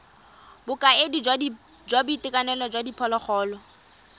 bokaedi jwa boitekanelo jwa diphologolo